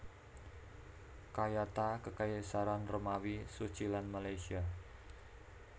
Kayata Kekaisaran Romawi Suci lan Malaysia